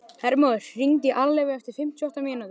Hermóður, hringdu í Alleifu eftir fimmtíu og átta mínútur.